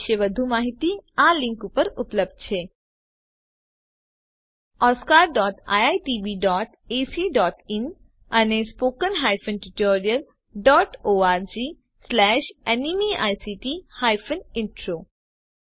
આ વિશે વધુ માહીતી આ લીંક ઉપર ઉપલબ્ધ છે oscariitbacઇન અને spoken tutorialorgnmeict ઇન્ટ્રો